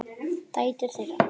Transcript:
Dætur þeirra